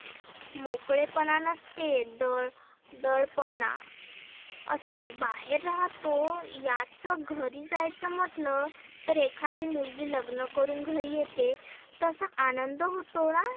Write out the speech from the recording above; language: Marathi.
मोकळे पणा नसते तर दळ दडपणा असते. बाहेर राहतो याचं घरी जायचं म्हटलं तर एखादी मुलगी लग्न करुण घरी येते तसा आनंद होतोना